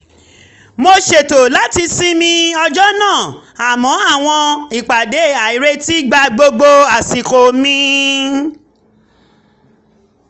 mo ṣètò láti sinmi ọjọ́ náà àmọ́ àwọn ìpàdé àìretí gba gbogbo àsìkò mi